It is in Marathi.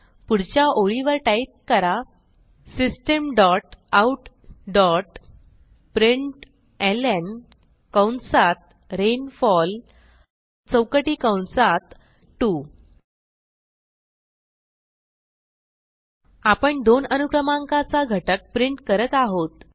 पुढच्या ओळीवर टाईप करा system dot out dot println कंसात रेनफॉल चौकटी कंसात 2 आपण 2 अनुक्रमांकाचा घटक प्रिंट करत आहोत